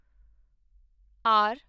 R